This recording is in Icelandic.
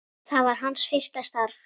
Það var hans fyrsta starf.